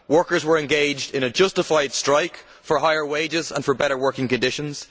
Workers were engaged in a justified strike for higher wages and for better working conditions.